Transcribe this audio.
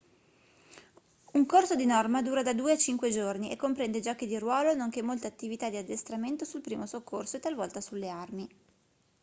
un corso di norma dura da 2 a 5 giorni e comprende giochi di ruolo nonché molte attività di addestramento sul primo soccorso e talvolta sulle armi